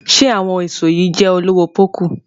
Ṣe àwọn èso yí jé olowo poku?